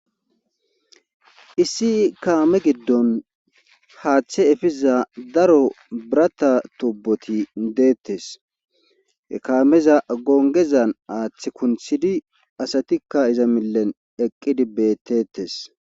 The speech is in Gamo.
issi kaame giddon haaththe efiza daro birata toboti deettes ekaameza gongezan aaththi kunthidi asatikka iza millen eqqidi beettetes